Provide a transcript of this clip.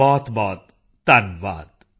ਬਹੁਤਬਹੁਤ ਧੰਨਵਾਦ